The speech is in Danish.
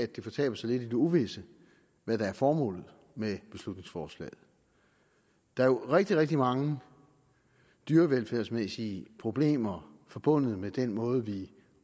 det fortaber sig lidt i det uvisse hvad der er formålet med beslutningsforslaget der er jo rigtig rigtig mange dyrevelfærdsmæssige problemer forbundet med den måde vi